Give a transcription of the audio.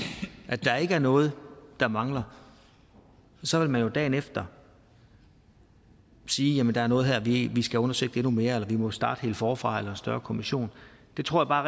at der ikke er noget der mangler så vil man jo dagen efter sige at der er noget her vi skal have undersøgt endnu mere eller at vi må starte helt forfra en større kommission jeg tror bare